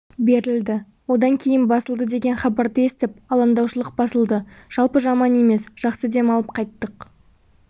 берілді одан кейін басылды деген хабарды естіп алаңдаушылық басылды жалпы жаман емес жақсы демалып қайттық